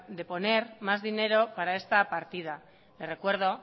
de poner más dinero para esta partida le recuerdo